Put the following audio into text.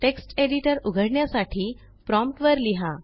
text editor उघडण्यासाठी prompt वर लिहा